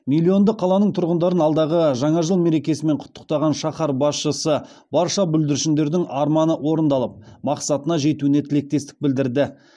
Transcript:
миллионды қаланың тұрғындарын алдағы жаңа жыл мерекесімен құттықтаған шаһар басшысы барша бүлдіршіндердің арманы орындалып мақсатына жетуіне тілектестік білдірді